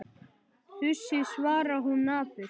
Þusið, svarar hún napurt.